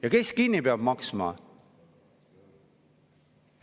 Ja kes peab selle kinni maksma?